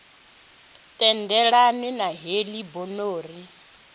tendelana na heḽi bono ri